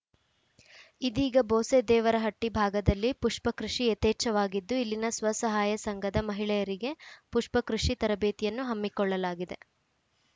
ಇದೀಗ ಬೋಸೆದೇವರಹಟ್ಟಿಭಾಗದಲ್ಲಿ ಪುಷ್ಪ ಕೃಷಿ ಯತೇಚ್ಛವಾಗಿದ್ದು ಇಲ್ಲಿನ ಸ್ವಸಹಾಯ ಸಂಘದ ಮಹಿಳೆಯರಿಗೆ ಪುಷ್ಪ ಕೃಷಿ ತರಬೇತಿಯನ್ನು ಹಮ್ಮಿಕೊಳ್ಳಲಾಗಿದೆ